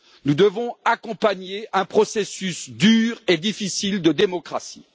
Nous devons accompagner un processus dur et difficile de démocratie.